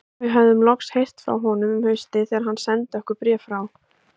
Við höfðum loks heyrt frá honum um haustið þegar hann sendi okkur bréf frá